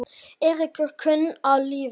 Eiríkur kunni að lifa lífinu.